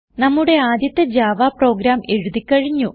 നമ്മുടെ ആദ്യത്തെ Java program എഴുതി കഴിഞ്ഞു